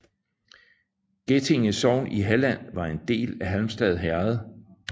Getinge sogn i Halland var en del af Halmstad herred